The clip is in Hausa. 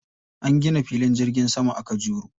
An gina filin jirgin sama a Kajuru.